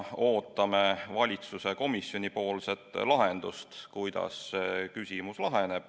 Ootame valitsuse ja komisjoni lahendust sellele küsimusele.